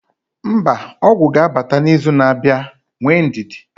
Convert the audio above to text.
mba, ọgwụ ga-abata n'izu na-abịa, nwee ndidi